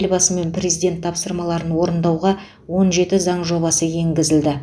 елбасы мен президент тапсырмаларын орындауға он жеті заң жобасы енгізілді